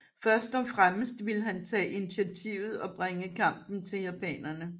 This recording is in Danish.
Først og fremmest ville han tage initiativet og bringe kampen til japanerne